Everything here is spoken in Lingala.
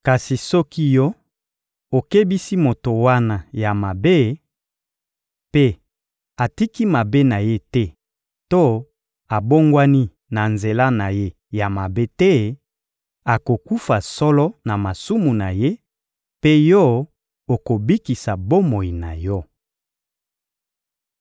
Kasi soki, yo, okebisi moto wana ya mabe, mpe atiki mabe na ye te to abongwani na nzela na ye ya mabe te, akokufa solo na masumu na ye, mpe yo okobikisa bomoi na yo.